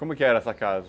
Como que era essa casa?